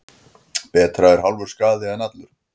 Betra er hálfur skaði en allur.